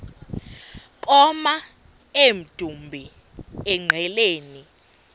koma emdumbi engqeleni